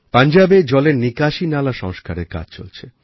পাঞ্জাবে জলের নিকাশী নালা সংস্কারের কাজ চলছে